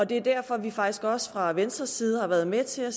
det er derfor vi faktisk også fra venstres side har været med til at